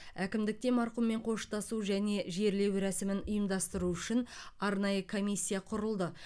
әкімдікте марқұммен қоштасу және жерлеу рәсімін ұйымдастыру үшін арнайы комиссия құрылды